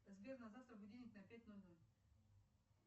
сбер на завтра будильник на пять ноль ноль